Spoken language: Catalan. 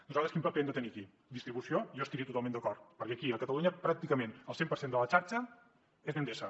nosaltres quin paper hem de tenir aquí distribució jo hi estaria totalment d’acord perquè aquí a catalunya pràcticament el cent per cent de la xarxa és d’endesa